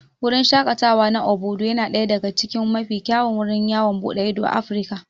Wurin shaƙatawa na Obudu yana daya daga cikin mafi kyawun wurin yawon buɗe ido a Afirka.